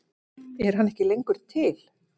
Er hann ekki lengur til?